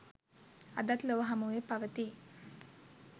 අදත් ලොව හමුවේ පවතියි